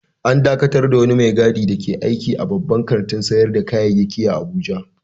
An dakatar da wani mai gadi dake aiki a wani babban kantin sayar da kayayyaki a Abuja